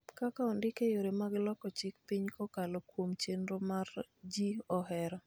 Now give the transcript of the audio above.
kaka ondik e yore mag loko chik piny kokalo kuom chenro ma ji ohero.